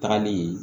Tagali